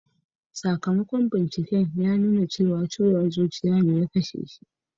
Sakamakon binciken ya nuna cewa ciwon zuciya ne ya kashe shi.